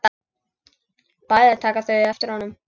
Bæði taka þau eftir honum.